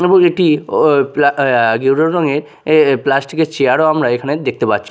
এবং এটি ও প্লা য়া ইয়েলো রঙের এ প্লাস্টিক -এর চেয়ার -ও আমরা এখানে দেখতে পাচ্ছি।